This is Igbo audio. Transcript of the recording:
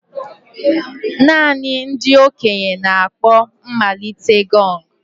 Naanị ndị okenye na-akpọ mmalite gong.